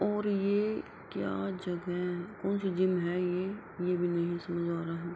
और ये क्या जगह है। कोन सी जिम है ये ये भी नहीं समाज आ रहा --